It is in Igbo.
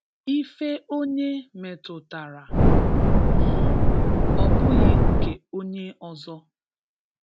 ife onye metụtara, um obughi nke onye ọzọ